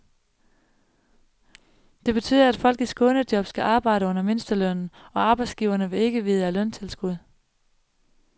Det betyder, at folk i skånejob skal arbejde under mindstelønnen, og arbejdsgiverne vil ikke vide af løntilskud.